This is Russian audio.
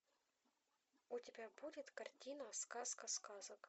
у тебя будет картина сказка сказок